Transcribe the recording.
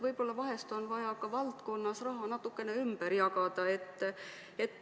Võib-olla on vahel vaja ka valdkonnas raha natukene ümber jagada.